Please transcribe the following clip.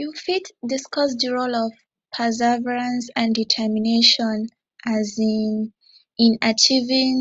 you fit discuss di role of perseverance and determination um in achieving